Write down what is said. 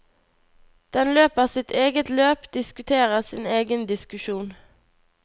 Den løper sitt eget løp, diskuterer sin egen diskusjon.